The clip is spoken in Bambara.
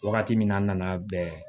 Wagati min na n nana bɛn